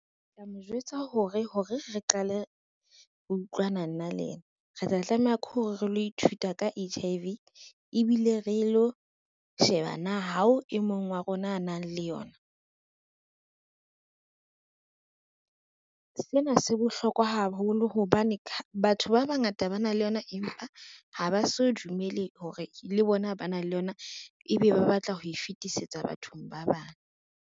Ke tla mo jwetsa hore, ho re re qale ho utlwana nna le yena re tla tlameha ke hore re lo ithuta ka H_I_V, ebile re lo sheba na hao e mong wa rona a nang le yona. Sena se bohlokwa haholo hobane batho ba bangata ba na le yona, empa ha ba so dumele hore le bona ba na le yona, ebe ba batla ho e fetisetsa bathong ba bang.